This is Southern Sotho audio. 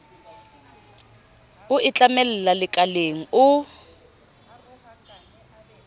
o e tlamella lekaleng o